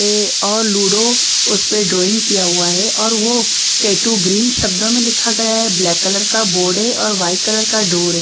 और लूडो उस पर ड्राइंग किया हुआ है और वो टैटू ग्रीन शब्दों में लिखा गया है ब्लैक कलर का बोर्ड है और वाइट कलर का डोर है।